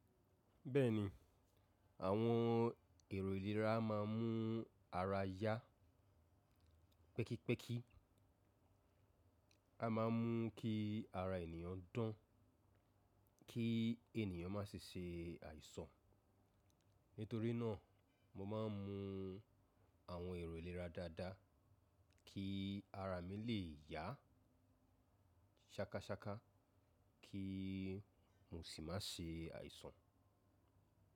Bẹ́ẹ̀ni, àwọn èrò ìlera máa ń mú ara yá pẹ́kípẹ́kí. A máa ń mú kí ara ènìyàn dán kí ènìyàn má ṣe ṣe àìsàn. Nítorí náà mo máa ń mu àwọn èrò ìlera dáadáa kí ara mi lè yá ṣákaṣáka kí mo sì má ṣe àìsàn.